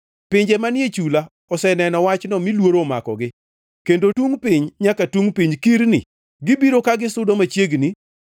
Pinje manie chula oseneno wachno mi luoro omakogi; kendo tungʼ piny nyaka tungʼ piny kirni. Gibiro ka gisudo machiegni.